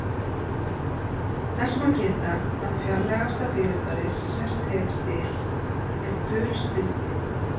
Þess má geta að fjarlægasta fyrirbæri sem sést hefur til þessa er dulstirni.